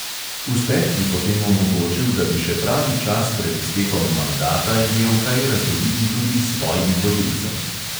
Uspeh bi potem omogočil, da bi še pravi čas pred iztekom mandata imel kaj razdeliti tudi svojim volilcem.